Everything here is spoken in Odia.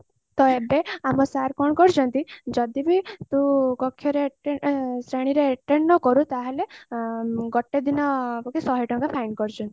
ତ ଏବେ ଆମ sir କଣ କରିଛନ୍ତି ଯଦି ବି ତୁ ଶ୍ରେଣୀ ରେ attend ନ କରୁ ଗୋଟେ ଦିନକୁ କି ଶହେ ଟଙ୍କା ଫାଇନ ପଡିଯିବ